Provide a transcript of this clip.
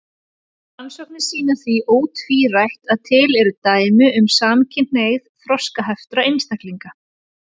Rannsóknir sýna því ótvírætt að til eru dæmi um samkynhneigð þroskaheftra einstaklinga.